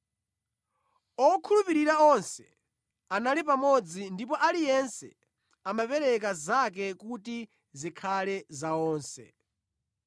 Okhulupirira onse anali pamodzi ndipo aliyense ankapereka zinthu zake kuti zikhale za onse.